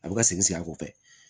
A bɛ ka segin a kɔfɛ